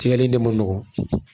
Sɛgɛli in ne man nɔgɔn